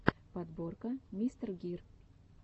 подборка мистер гир